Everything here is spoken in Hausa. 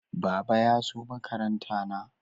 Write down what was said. Baba ya zo makaranta na